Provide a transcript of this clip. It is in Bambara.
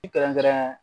I kɛrɛnkɛrɛn